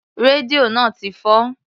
Rédíò náà ti fọ́.